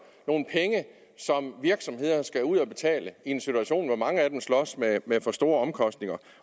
nogle penge som virksomhederne skal ud og betale i en situation hvor mange af dem slås med for store omkostninger